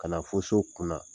Ka na fo so kun na.